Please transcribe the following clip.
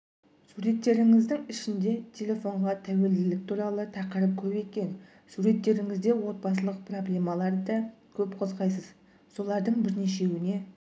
суреттеріңіздің ішінде телефонға тәуелділік туралы тақырып көп екен суреттеріңізде отбасылық проблемаларды да көп қозғайсыз солардың бірнешеуіне